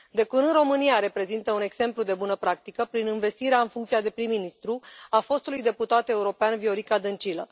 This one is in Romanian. De curând, România reprezintă un exemplu de bună practică, prin învestirea în funcția de prim ministru a fostului deputat european, Viorica Dăncilă.